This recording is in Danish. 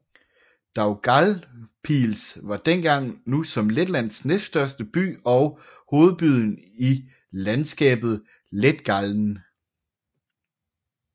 Daugavpils var dengang som nu Letlands næststørste by og hovedbyen i landskabet Letgallen